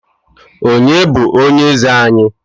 Onye bụ onye eze anyị?